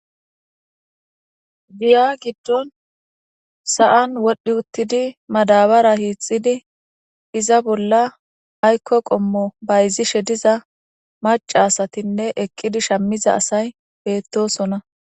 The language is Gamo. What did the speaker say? Giya giddon sa'an wodhdhi uttidine madabara hixidi iza bolla aykko qommo bayzishe diza maca asatinne eqidi shamiza asay beetosona.